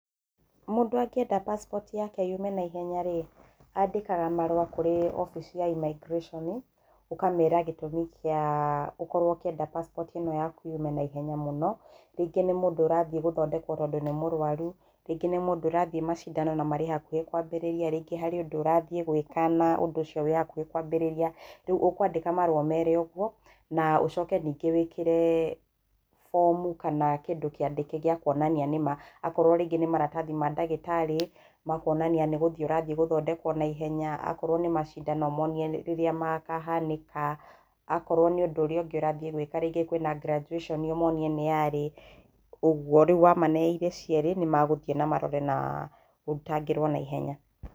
Mũndũ angĩenda passport yake yume naihenya rĩ, andĩkaga marũa kũrĩ obici ya immigration ũkamera gĩtũmi kĩa ũkorwo ũkĩenda passport ĩno yaku yume naihenya mũno, rĩngĩ nĩ mũndũ ũrathiĩ gũthondekwo tondũ nĩ mũrwaru, rĩngĩ nĩ mũndũ ũrathiĩ macindano na marĩ hakuhĩ kũambĩrĩria, rĩngĩ harĩ ũndũ ũrathiĩ gwika na ũndũ ũcio wĩ hakuhĩ kwambĩrĩria, rĩu ũkwandĩka marũa ũmere ũguo na ũcoke ningĩ wĩkĩre fomu kana kĩndũ kĩandĩke gĩa kuonania nĩ ma, akorwo rĩngĩ nĩ maratathi ma ndagĩtarĩ makuonania nĩ guthiĩ ũrathiĩ gũthondekwo naihenya, akorwo nĩ macindano ũmonie rĩrĩa makahanĩka, akorwo nĩ ũndũ ũrĩa ũngĩ ũrathiĩ gwĩka rĩngĩ kwĩna graduation ũmonie nĩ yaarĩ, ũguo. Rĩu wamane irĩ cierĩ nĩmeguthiĩ na marore na ũrutangĩrio naihenya.